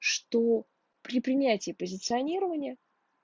сто при принятии позиционирования